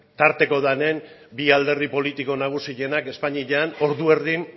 tarteko denean bi alderdi politiko nagusienak espainian ordu erdian